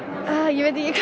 ég veit ekki